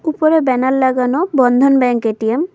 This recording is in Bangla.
উপরে ব্যানার লাগানো বন্ধন ব্যাংক এ_টি_এম ।